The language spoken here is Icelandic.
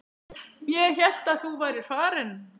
Ég hélt að þú værir farin.